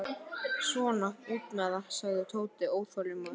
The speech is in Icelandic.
Svona, út með það, sagði Tóti óþolinmóður.